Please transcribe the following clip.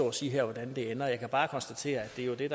og sige hvordan det ender jeg kan bare konstatere at det er det